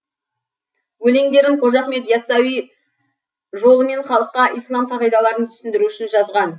өлеңдерін қожа ахмет иасауи жолымен халыққа ислам қағидаларын түсіндіру үшін жазған